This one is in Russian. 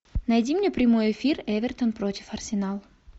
найди мне прямой эфир эвертон против арсенал